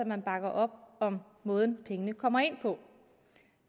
man bakker op om måden pengene kommer ind på